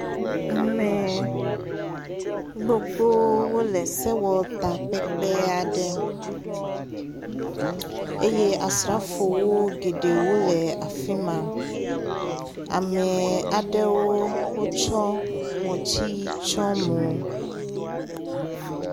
Ame gbogbo wole sewɔtakpekpe aɖe eye asrafowo geɖewo le afi ma. Ame aɖewo wotsɔ ŋɔtsi tsɔ mo.